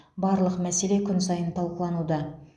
барлық мәселе күн сайын талқылануда